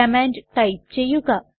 command type ചെയ്യുക